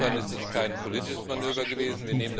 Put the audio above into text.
Insofern ist das kein politisches Manöver gewesen.